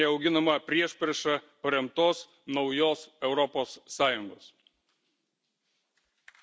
Reikia dialogo, o ne auginama priešprieša paremtos naujos Europos Sąjungos.